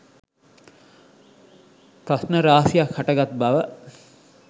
ප්‍රශ්න රාශියක් හටගත් බව